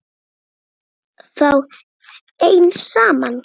Þið eruð þá enn saman?